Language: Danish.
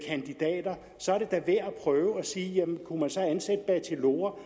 kandidater så er det da værd at prøve at sige kunne man så ansætte bachelorer